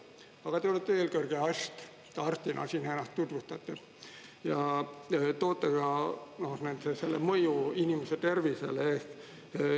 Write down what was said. Aga te olete eelkõige arst, arstina siin ennast tutvustate, ja toote ka selle mõju inimese tervisele eest.